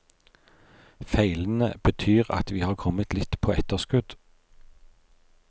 Feilene betyr at vi har kommet litt på etterskudd.